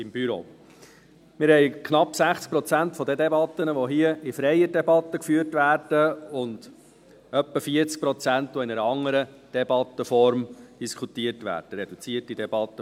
Wir haben knapp 60 Prozent der Debatten, die hier in freier Debatte geführt werden, und etwa 40 Prozent, die in einer anderen Debattenform debattiert werden, vor allem in Form der reduzierten Debatte.